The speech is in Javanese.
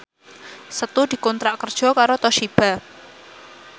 Setu dikontrak kerja karo Toshiba